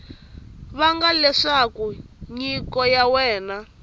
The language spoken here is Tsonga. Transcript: vanga leswaku nyiko ya wena